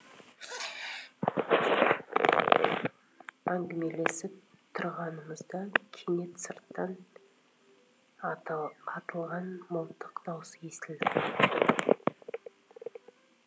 әңгімелесіп тұрғанымызда кенет сырттан атылған мылтық даусы естілді